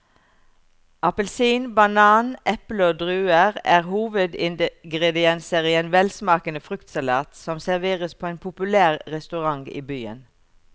Appelsin, banan, eple og druer er hovedingredienser i en velsmakende fruktsalat som serveres på en populær restaurant i byen.